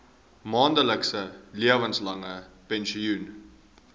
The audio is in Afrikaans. maandelikse lewenslange pensioen